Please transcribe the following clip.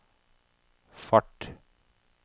fart